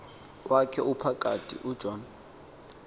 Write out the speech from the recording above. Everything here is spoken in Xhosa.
wakhe ophakathi ujohn